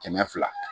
Kɛmɛ fila